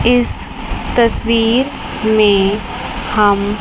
इस तस्वीर हम --